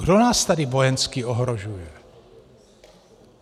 Kdo nás tady vojensky ohrožuje?